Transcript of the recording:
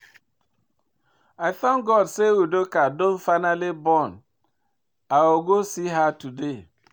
I thank God say Udoka don finally born. I go go see her today